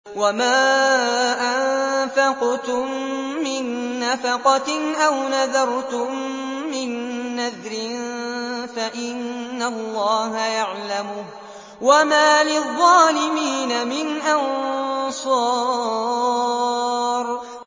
وَمَا أَنفَقْتُم مِّن نَّفَقَةٍ أَوْ نَذَرْتُم مِّن نَّذْرٍ فَإِنَّ اللَّهَ يَعْلَمُهُ ۗ وَمَا لِلظَّالِمِينَ مِنْ أَنصَارٍ